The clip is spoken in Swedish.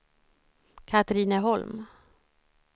Katrineholm